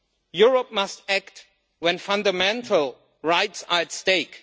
Europe must act when fundamental rights are at stake.